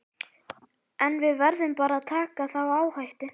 En við verðum bara að taka þá áhættu.